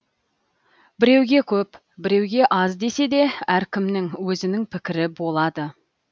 біреуге көп біреуге аз десе де әркімнің өзінің пікірі болады